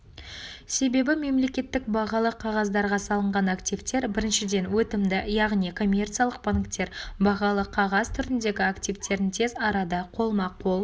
себебі мемлекеттік бағалы қағаздарға салынған активтер біріншіден өтімді яғни коммерциялық банктер бағалы қағаз түріндегі активтерін тез арада қолма-қол